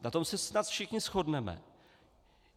Na tom se snad všichni shodneme.